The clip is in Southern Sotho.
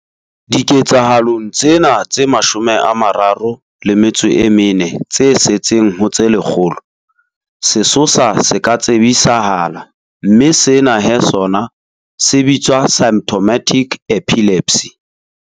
Diketsahalong tsena tse 34 tse setseng ho tse lekgolo, sesosa se ka tsebisahala mme sena he sona se bitswa symptomatic epilepsy.